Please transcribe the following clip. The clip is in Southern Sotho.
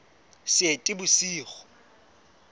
seetebosigo